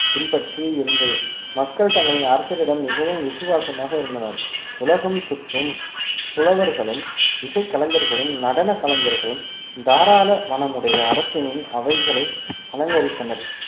பின்பற்றியே இருந்தது மக்கள் தங்களின் அரசரிடம் மிகவும் விசுவாசமாக இருந்தனர் உலகம் சுற்றும் புலவர்களும் இசை கலைஞர்களும் நடன கலைஞர்களும் தாராள மனமுடைய அரசனின் அவைகளை அலங்கரித்தனர்